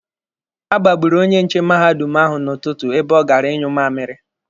A gbagburu onye nche mahadum ahụ n'ụtụtụ ebe ọ gara ịnyụ mmamiri.